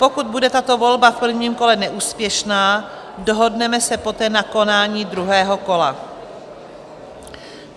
Pokud bude tato volba v prvním kole neúspěšná, dohodneme se poté na konání druhého kola.